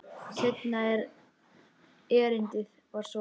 Seinna erindið var svona: